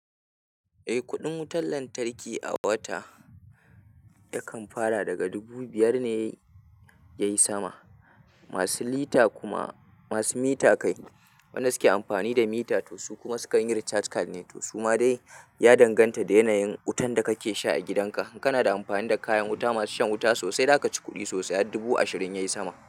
Eh, kuɗin wutar lantarki a wata yakan fara daga dubu biyar ne ya yi sama. Masu mita kai waɗanda suke amfani da mita, to su kuma sukan yi recharge card ne, to su ma dai ya danganta da yanayin wutan da kake sha a gidan ka. In kana da amfani da kayan wuta masu shan wuta sosai, za ka ci kuɗi sosai har dubu ashirin ya yi sama.